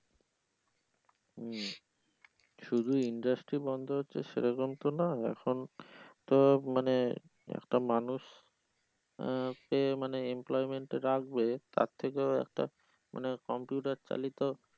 হম শুধু industries বন্ধ হচ্ছে সেরকম তো না তো মানে একটা মানুষ আহ পেয়ে মানে টা রাখবে তার থেকেও একটা মানে computer চালিত